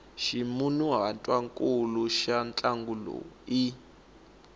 ximunhuhatwankulu xa ntlangu lowu i